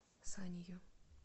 санию